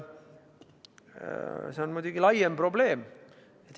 Ja see on muidugi laiem probleem.